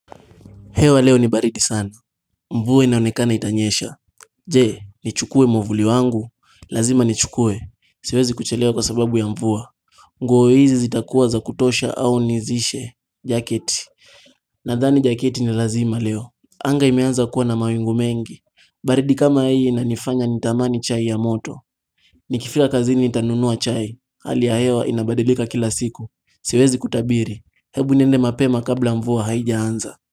Hewa leo ni baridi sana. Mvua inaonekana itanyesha. Je, nichukue mwavuli wangu. Lazima nichukue. Siwezi kuchelewa kwa sababu ya mvua. Nguo hizi zitakuwa za kutosha au nizishe. Jacket. Nadhani jacket ni lazima leo. Anga imeanza kuwa na mawingu mengi. Baridi kama hii inanifanya nitamani chai ya moto. Nikifika kazini nitanunua chai. Hali ya hewa inabadilika kila siku. Siwezi kutabiri. Hebu niende mapema kabla mvua haijaanza.